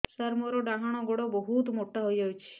ସାର ମୋର ଡାହାଣ ଗୋଡୋ ବହୁତ ମୋଟା ହେଇଯାଇଛି